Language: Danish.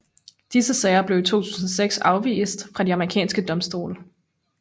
Disse sager blev i 2006 afvist fra de amerikanske domstole